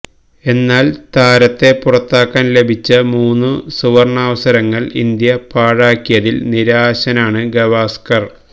എന്നാല് താരത്തെ പുറത്താക്കാന് ലഭിച്ച മൂന്നു സുവര്ണാവസരങ്ങള് ഇന്ത്യ പാഴാക്കിയതില് നിരാശനാണ് ഗവാസ്കര്